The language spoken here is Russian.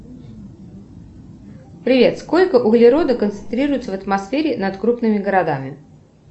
привет сколько углерода концентрируется в атмосфере над крупными городами